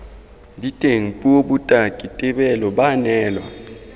diteng puo botaki tebelo baanelwa